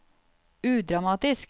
udramatisk